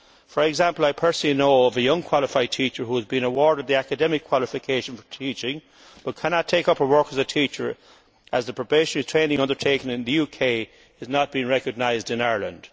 For example, I personally know of a young qualified teacher who has been awarded the academic qualification for teaching but cannot take up work as a teacher as the probationary training undertaken in the UK is not recognised in Ireland.